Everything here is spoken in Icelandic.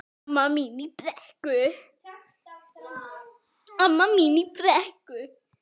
Amma mín í Brekku.